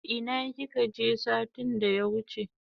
Ina kika je satin da ya wuche?